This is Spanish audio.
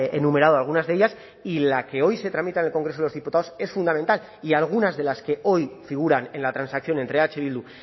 enumerado algunas de ellas y la que hoy se tramita en el congreso de los diputados es fundamental y algunas de las que hoy figuran en la transacción entre eh bildu